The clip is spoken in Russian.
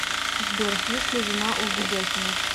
сбер есть ли жена у ведяхина